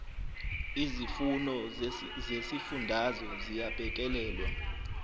izimfuno zezifundazwe ziyabhekelelwa